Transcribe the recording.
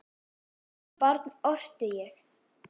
Sem barn orti ég.